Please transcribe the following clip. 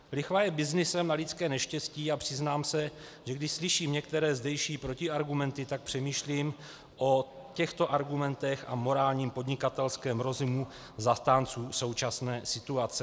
Lichva je byznysem na lidské neštěstí a přiznám se, že když slyším některé zdejší protiargumenty, tak přemýšlím o těchto argumentech a morálním podnikatelském rozumu zastánců současné situace.